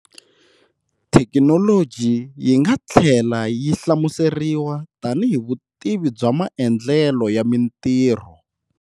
Thekinoloji yinga thlela yi hlamuseriwa tanihi vutivi bya maendlelo ya mintirho.